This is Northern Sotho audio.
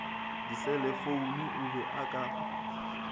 diselefoune o be a ka